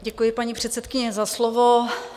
Děkuji, paní předsedkyně, za slovo.